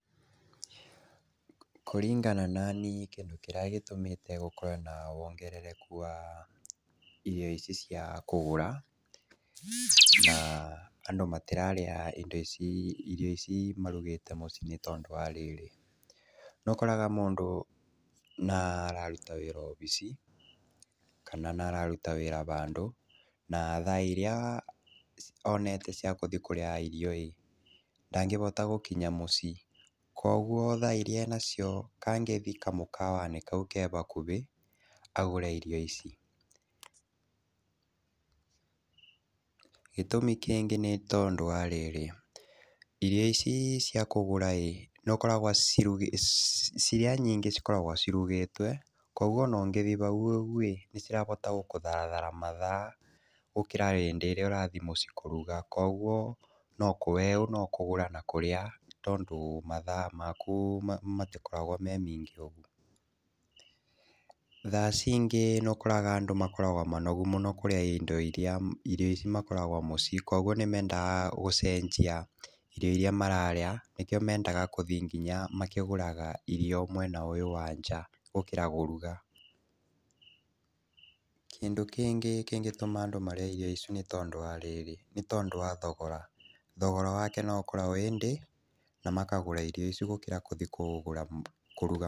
Kũringana nani kĩndũ kĩrĩa gĩtũmĩte gũkorwe na wongerereku wa iheo ici cia kũgũra, na andũ matĩrarĩa irio ici marugĩte mũcii nĩtondũ warĩrĩ, nĩũkoraga mũndũ nĩararuta wĩra obici kana nĩararuta wĩra handũ na thaa iria onete ciakũthii kũrĩa ĩĩ ndangĩhota gũkinya mũcii, kwoguo thaa irĩa enacio kangĩthii kamũkawanĩ kau kehakuhĩ agũre irio ici, gĩtũmi kĩngĩ nĩtondũ wa rĩrĩ, irio ici cia kũgũra ĩ nĩũkoraga iria nyingĩ cikoragwo cirugĩtwe kwoguo ona ũngĩthi hau ĩ nĩcirahota gũkũtharĩra mathaa gũkĩra hĩndĩ ĩrĩa ũrathii mũcii kũruga kwoguo weũ nokũgũra na kũria tondũ mathaa maku matĩkoragwa me maingĩ ũgu, thaa cingĩ nĩũkoraga andũ makoragwa manogu mũno kũrĩa indo iria ikoragwo mũcii kwoguo nĩmendaga gũcenjia irio iria mararĩa nĩkĩo mendaga gũthii nginya makĩgũraga irio mwena ũyũ wa nja gũkĩra kũruga, kĩndũ kĩngĩ kĩngĩtũma marĩe irio icu nĩtondũ wa thogora, thogora wake noũkorwe wĩthĩ namakagũra irio icu gũkĩra kũthii kũruga.